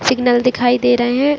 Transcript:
Signal दिखाई दे रहे है।